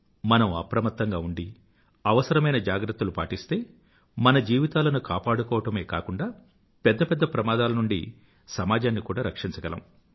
మనం అప్రమత్తంగా ఉండి అవసరమైన జాగ్రత్తలు పాటిస్తే మన జీవితాలను కాపాడుకోవడమే కాకుండా పెద్ద పెద్ద ప్రమాదాల నుండి కూడా సమాజాన్ని రక్షించగలం